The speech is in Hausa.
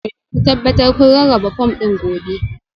Ku tabbata kun rarraba fom ɗin gobe